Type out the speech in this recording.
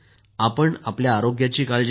आपण आपल्या आरोग्याची काळजी घ्या